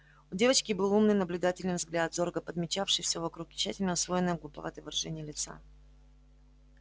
у девочки был умный наблюдательный взгляд зорко подмечавший все вокруг и тщательно усвоенное глуповатое выражение лица